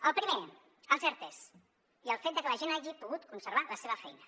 el primer els ertes i el fet de que la gent hagi pogut conservar la seva feina